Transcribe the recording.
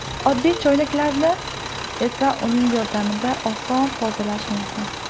Oddiy choynaklarni esa uning yordamida oson tozalash mumkin.